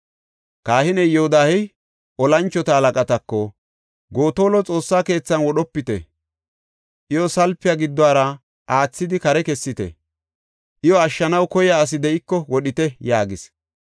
Kahiney Yoodahey tora moconatako, “Gotola Xoossa keethan wodhopite; iyo salpiya giddora aathidi kare kessite; iyo ashshanaw koyiya asi de7iko wodhite!” yaagis.